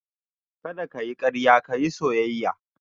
Kada ka yi karya ka yi soyayya